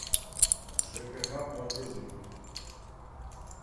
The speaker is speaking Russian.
жкх платежи